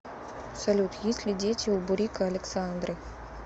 салют есть ли дети у бурико александры